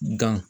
Gan